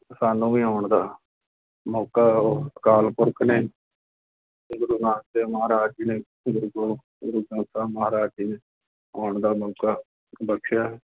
ਸਾਨੂੰ ਵੀ ਆਉਣ ਦਾ ਮੌਕਾ ਉਹ ਅਕਾਲ ਪੁਰਖ ਨੇ ਤੇ ਗੁਰੂ ਨਾਨਕ ਦੇਵ ਮਹਾਰਾਜ ਜੀ ਨੇ ਗੁਰੂ ਗ੍ਰੰਥ ਸਾਹਿਬ ਮਹਾਰਾਜ ਜੀ ਨੇ ਆਉਣ ਦਾ ਮੌਕਾ ਬਖ਼ਸਿਆ ਹੈ